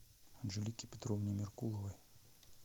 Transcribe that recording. анжелике петровне меркуловой